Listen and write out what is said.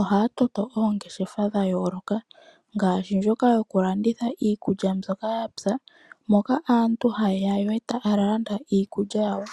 ohaya toto oongeshefa dhayooloka, ngaashi ndjoka yokulanditha iikulya mbyoka yapya moka aantu haye ya, yo taya landa iikulya yawo.